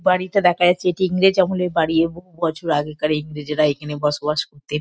বাড়িটা দেখা যাচ্ছে এটি ইংরেজ আমলের বাড়ি। এ বহু বছর আগেকার ইংরেজরা এখানে বসবাস করতেন।